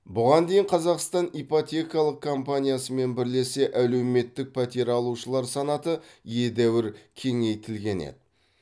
бұған дейін қазақстан ипотекалық компаниясымен бірлесе әлеуметтік пәтер алушылар санаты едәуір кеңейтілген еді